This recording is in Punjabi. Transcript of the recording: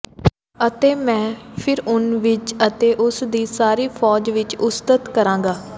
ਅਤੇ ਮੈਂ ਫ਼ਿਰਊਨ ਵਿੱਚ ਅਤੇ ਉਸ ਦੀ ਸਾਰੀ ਫ਼ੌਜ ਵਿੱਚ ਉਸਤਤ ਕਰਾਂਗਾ